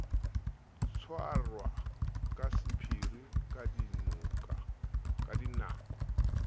tshwarwa ka sephiri ka dinako